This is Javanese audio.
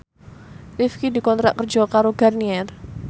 Rifqi dikontrak kerja karo Garnier